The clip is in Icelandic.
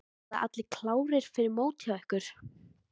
Verða allir klárir fyrir mót hjá ykkur?